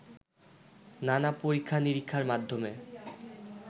নানা পরীক্ষা-নিরীক্ষার মাধ্যমে